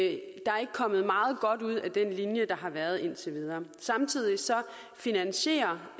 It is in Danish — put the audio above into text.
ikke er kommet meget godt ud af den linje der har været ført indtil videre samtidig finansierer